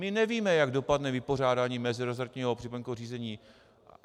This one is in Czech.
My nevíme, jak dopadne vypořádání meziresortního připomínkového řízení.